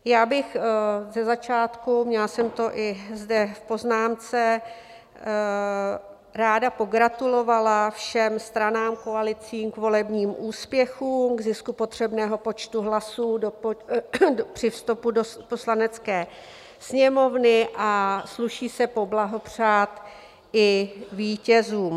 Já bych ze začátku - měla jsem to i zde v poznámce - ráda pogratulovala všem stranám, koalicím k volebním úspěchům, k zisku potřebného počtu hlasů při vstupu do Poslanecké sněmovny, a sluší se poblahopřát i vítězům.